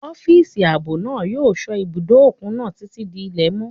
Ọ́físà ààbò náà yóò sọ́ ibùdó òkun náà títí di ilẹ̀ mọ́